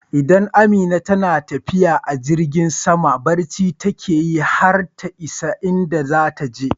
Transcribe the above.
Idan Amina tana tafiya a jirgin sama barci take yi har ta isa inda zata je